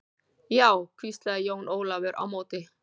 Já, hvíslaði Jón Ólafur á móti.